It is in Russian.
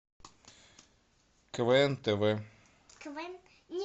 квн тв